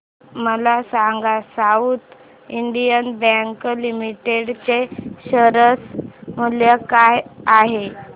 मला सांगा South Indian Bank Limited चे शेअर मूल्य काय आहे